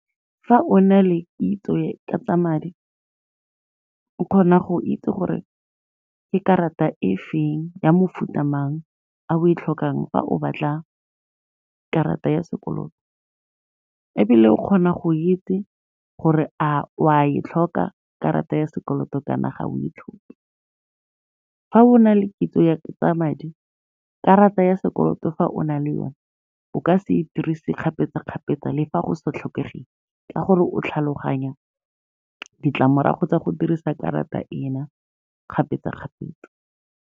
Fa o na le kitso ka tsa madi, o kgona go itse gore ke karata e feng ya mofuta mang a o e tlhokang fa o batla karata ya sekoloto ebile o kgona go itse gore a o a e tlhoka karata ya sekoloto kana ga o e tlhoke. Fa o na le kitso ya tsa madi, karata ya sekoloto fa o na le one o ka se dirise kgapetsa-kgapetsa le fa go sa tlhokegeng, ka gore o tlhaloganya ditlamorago tsa go dirisa karata ena kgapetsa-kgapetsa.